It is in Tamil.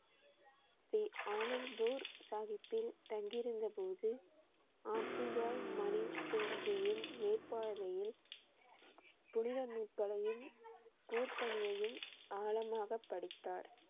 ஸ்ரீ அனந்த்பூர் சாஹிப்பில் தங்கியிருந்த போது ஆப்ஜி பாய் மணி சிங் ஜியின் மேற்பார்வையில் புனித நூல்களையும் ஊர் பணியையும் ஆழமாக படித்தார்